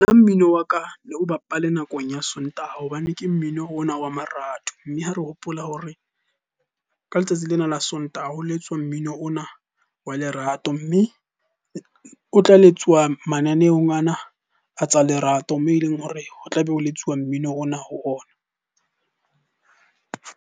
Nna mmino wa ka o bapale nakong ya Sontaha hobane ke mmino ona wa marato. Mme ha re hopola hore ka letsatsi lena la Sontaha ho letswa mmino ona wa le lerato. Mme o tla letsuwa mananeong ana a tsa lerato, moo e leng hore ho tlabe o letswa mmino ona ho ona.